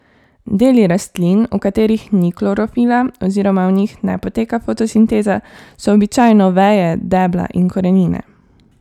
Deli rastlin, v katerih ni klorofila oziroma v njih ne poteka fotosinteza, so običajno veje, debla in korenine.